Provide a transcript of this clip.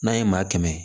N'an ye maa kɛmɛ